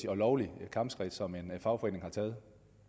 og lovligt kampskridt som en fagforening har taget